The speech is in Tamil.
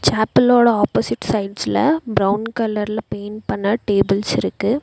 ஆப்போசிட் சைட்ஸ்ல பிரவுன் கலர்ல பெயிண்ட் பண்ண டேபிள்ஸ் இருக்கு.